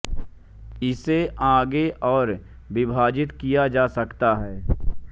इसे आगे और विभाजित किया जा सकता है